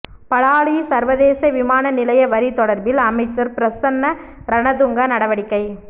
பலாலி சர்வதேச விமான நிலைய வரி தொடர்பில் அமைச்சர் பிரசன்ன ரணதுங்க நடவடிக்கை